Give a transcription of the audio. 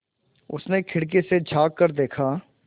उसने खिड़की से झाँक कर देखा